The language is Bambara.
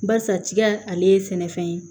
Barisa tiga ale ye sɛnɛfɛn ye